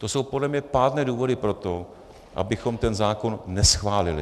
To jsou podle mě pádné důvody pro to, abychom ten zákon neschválili.